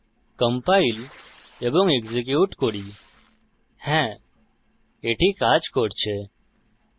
compile এবং execute করি হ্যা এটি কাজ করছে